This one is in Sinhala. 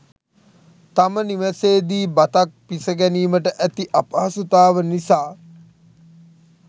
තම නිවසේ දී බතක් පිසගැනීමට ඇති අපහසුතාව නිසා